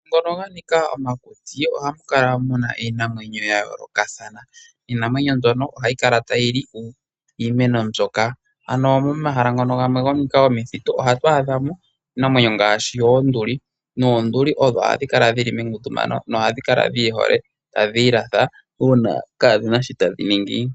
Momahala ngono ha nika omakuti ohamu kala muna iinamwenyo ya yoolokathana. Iinamwenyo mbyono ohayi kala tayi li iimeno mbyoka. Ano momahala ngono ga nika omithitu ohatu adha mo iinamwenyo ngaashi oonduli, noonduli odho hadhi kala dhili mengundumano nohadhi kala dhi ihole. Tadhi ilatha uuna kaadhina sho tadhi ningi.